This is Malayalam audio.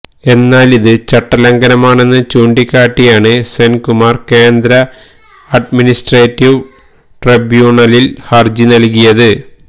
എന്നാലിത് ചട്ടലംഘനമാണെന്ന് ചൂണ്ടികാട്ടിയാണ് സെന്കുമാര് കേന്ദ്ര അഡ്മിനിസ്ട്രേറ്റീവ് ട്രൈബ്യൂണലില് ഹരജി നല്കിയത്